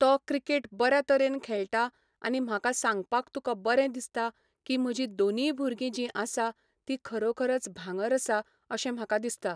तो क्रिकेट बऱ्या तरेन खेळटा आनी म्हाका सांगपाक तुका बरें दिसता की म्हजी दोनींय भुरगीं जीं आसा, तीं खरोखरच भांगर आसा, अशें म्हाका दिसता.